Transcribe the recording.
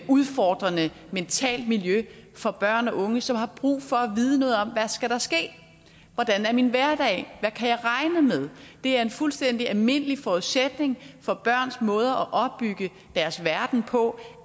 udfordrende mentalt miljø for børn og unge som har brug for at vide noget om hvad der skal ske hvordan er min hverdag hvad kan jeg regne med det er en fuldstændig almindelig forudsætning for børns måde at opbygge deres verden på